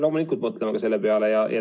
Loomulikult mõtleme ka selle peale.